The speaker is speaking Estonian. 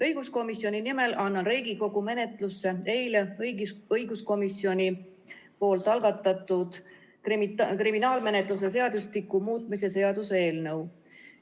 Õiguskomisjoni nimel annan Riigikogu menetlusse eile õiguskomisjoni algatatud kriminaalmenetluse seadustiku muutmise seaduse eelnõu.